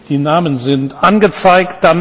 Die Namen sind angezeigt.